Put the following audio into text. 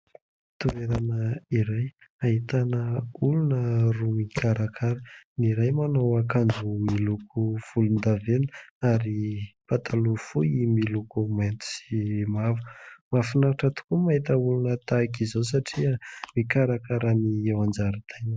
Toerana iray ahitana olona roa mikarakara, ny iray manao akanjo miloko volondavenina ary pataloha fohy miloko mainty sy mavo. Mahafinaritra tokoa mahita olona tahaka izao satria mikarakara ny eo an-jaridaina.